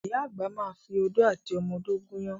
Ìyá àgbà ma fi odó àti ọmọ odó gúnyán.